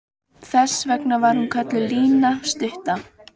Þess vegna var hún kölluð Lína stutta.